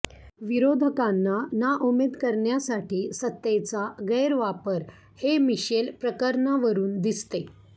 विरोधकांना नाउमेद करण्यासाठी सत्तेचा गैरवापर हे मिशेल प्रकरणावरून दिसते